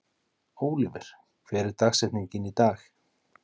Ólíver, hver er dagsetningin í dag?